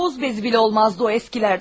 Toz bezi belə olmazdı o köhnələrdən.